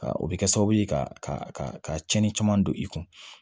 O bɛ kɛ sababu ye ka ka cɛnni caman don i kun